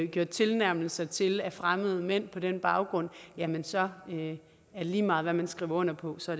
gjort tilnærmelser til af fremmede mænd på den baggrund jamen så er det lige meget hvad man skriver under på så